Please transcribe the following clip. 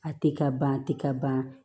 A tɛ ka ban a tɛ ka ban